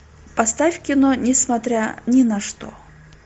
поставь кино несмотря ни на что